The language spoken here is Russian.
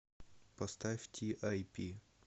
поставь ти ай пи